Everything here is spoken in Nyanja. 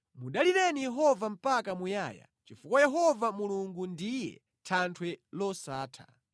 Mudalireni Yehova mpaka muyaya, chifukwa Yehova Mulungu ndiye Thanthwe losatha.